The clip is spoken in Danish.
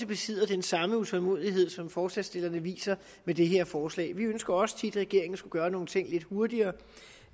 besidder den samme utålmodighed som forslagsstillerne viser med det her forslag vi ønsker også tit at regeringen skulle gøre nogle ting lidt hurtigere